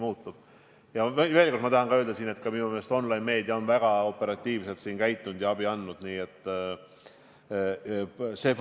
Ma tahan veel kord öelda ka seda, et minu meelest on online-meedia käitunud ja abi andnud väga operatiivselt.